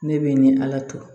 Ne bɛ ni ala to